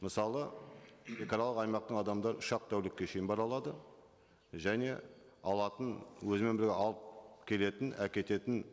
мысалы шегаралық аймақтың адамдары үш ақ тәулікке шейін бара алады және алатын өзімен бірге алып келетін әкететін